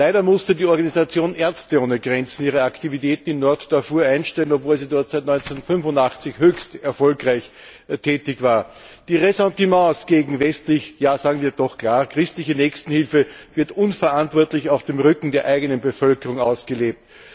Leider musste die Organisation Ärzte ohne Grenzen ihre Aktivität in Nord Darfur einstellen, obwohl sie dort seit 1985 höchst erfolgreich tätig war. Die Ressentiments gegen westliche ja sagen wir doch ganz klar christliche Nächstenhilfe werden unverantwortlich auf dem Rücken der eigenen Bevölkerung ausgelebt.